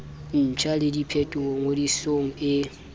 ntjha le diphetolo ngodisong e